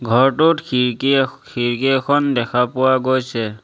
ঘৰটোত খিৰিকী এ খিৰিকী এখন দেখা পোৱা গৈছে।